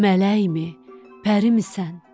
mələkmi, pərimisən?